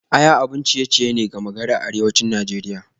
Aya abin ciye-ciye ne gama gari a arewacin Najeriya